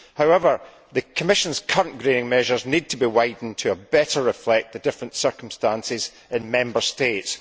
However, the Commission's current greening measures need to be widened to better reflect the different circumstances in the Member States.